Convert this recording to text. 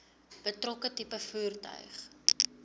betrokke tipe voertuig